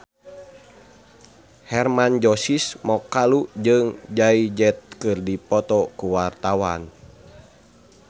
Hermann Josis Mokalu jeung Jay Z keur dipoto ku wartawan